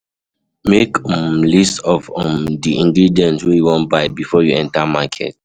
Make a um list of um the ingredient wey you wan buy before you enter um market